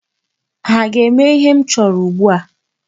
Ha ga-eme ihe m chọrọ ugbu a?